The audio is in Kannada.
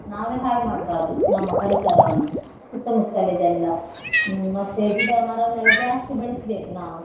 ನಾವೇ ಹಾಳ್ ಮಾಡ್ಬಾರ್ದು ನಮ್ಮ ಪರಿಸರವನ್ನು ಸುತ್ತಮುತ್ತಲಿದೆಲ್ಲ ಹ್ಮ್ ಮತ್ತೆ ಗಿಡ ಮರನ್ನೆಲ್ಲ ಜಾಸ್ತಿ ಬೆಳೆಸ್ಬೇಕು ನಾವು.